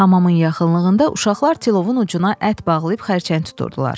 Hamamın yaxınlığında uşaqlar tilovun ucuna ət bağlayıb xərçəng tuturdular.